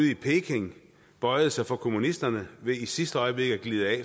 i peking bøjede sig for kommunisterne ved i sidste øjeblik at glide af